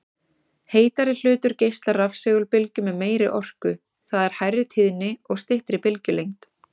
Heitari hlutur geislar rafsegulbylgjum með meiri orku, það er hærri tíðni og styttri bylgjulengd.